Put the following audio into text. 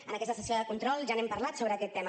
en aquesta sessió de control ja n’hem parlat sobre aquest tema